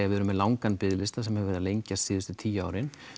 við erum með langan biðlista sem hefur verið að lengjast síðustu tíu árin